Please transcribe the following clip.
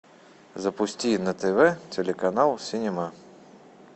запусти на тв телеканал синема